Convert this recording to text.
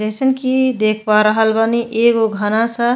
जइसन की देख पा रहल बानी एगो घना सा --